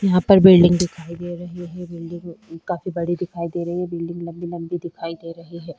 यहाँ पर बिल्डिंग दिखाई दे रही है बिल्डिंग काफी बड़ी दिखाई दे रही है बिल्डिंग लम्बी - लम्बी दिखाई दे रही है।